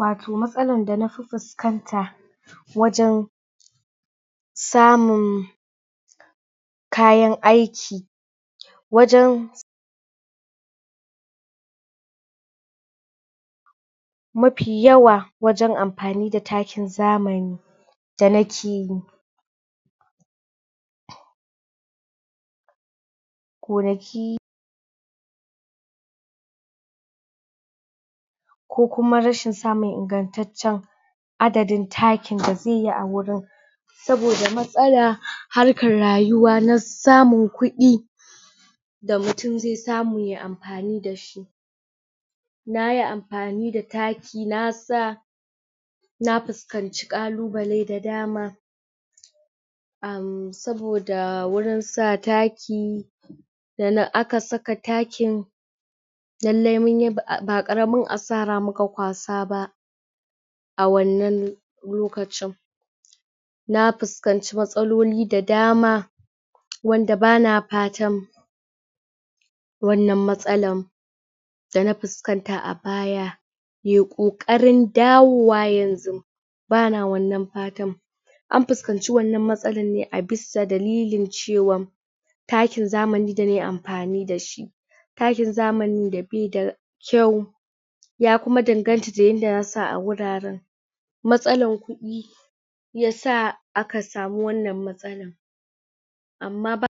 wato matsalan da na fi fuskanta wajen samun kayan aiki wajen mafi yawa wajen amfani da takin zamani da na ki gonaki ko kuma rashin samun ingantaccen adadin takin da zai yi a wurin saboda matsala harkan rayuwa na samun kudi da mutum zai samu yayi amfani dashi nayi amfani da taki na sa na fasukanci kalubale da dama erm saboda wurn sa taki da aka saka takin lallai munyi ba karamin asara muka kwasa ba a wannan lokacin na fuskanci matsaloli da dama wanda bana fatan wannan matsalan dana fuskanta a baya ye kokarin dawowa yanxu bana wannan fatan an fuskanci wannan matsalan ne a bisa dalilin cewan takin zamanin da nayi amfani dashi takin zamani da be da kyau ya kuma danganta da yadda zasu sa a wuraren matsalan kudi yasa aka samu wannan matsalan amma ba